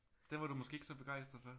Den var du måske ikke så begejstret for?